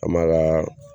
An m'a kaa